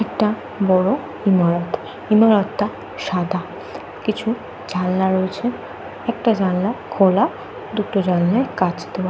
একটা বড় ইমারত। ইমারত সাদা। কিছু জানালা রয়েছে। একটা জানলার খোলা দুটো জানলা কাঁচ দেওয়া।